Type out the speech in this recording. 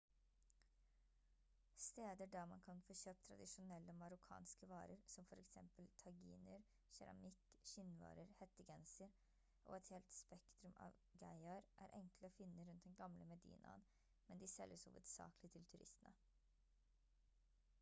steder der man kan få kjøpt tradisjonelle marokkanske varer som for eksempel taginer keramikk skinnvarer hettegenser og et helt spektrum av geiaer er enkle å finne rundt den gamle medinaen men de selges hovedsakelig til turistene